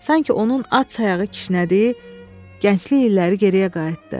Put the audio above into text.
Sanki onun at sayağı kişnədiyi gənclik illəri geriyə qayıtdı.